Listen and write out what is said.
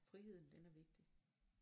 Friheden den er vigtig